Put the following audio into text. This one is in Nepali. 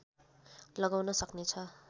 लगाउन सक्नेछ